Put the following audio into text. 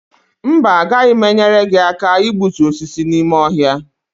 mba, agaghị m enyere gị aka igbutu osisi n’ime ọhịa